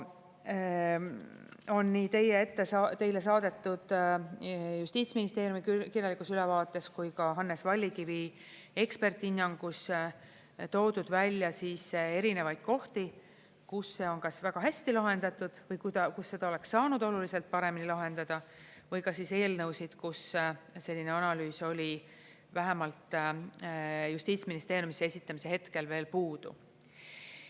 On nii teile ette saadetud justiitsministeeriumi kirjalikus ülevaates kui ka Hannes Vallikivi eksperthinnangus toodud välja erinevaid kohti, kus see on kas väga hästi lahendatud või kus seda oleks saanud oluliselt paremini lahendada või ka eelnõusid, kus selline analüüs oli vähemalt justiitsministeeriumisse esitamise hetkel veel puudu.